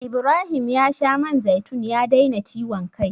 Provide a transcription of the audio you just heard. Ibrahim ya sha man zaitun ya daina ciwon kai.